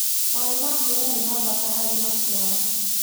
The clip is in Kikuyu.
Maĩ ma mbũra nĩmabata harĩ macĩaro